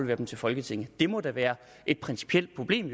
dem til folketinget det må da være et principielt problem